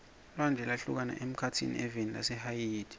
lwandle lwahlukana emkhatsini eveni lase haiti